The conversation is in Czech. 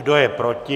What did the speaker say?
Kdo je proti?